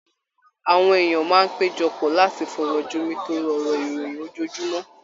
Àwọn èèyàn máa ń péjọ pọ̀ láti fọ̀rọ̀ jomitooro ọ̀rọ̀ ìròyìn ojoojúmọ́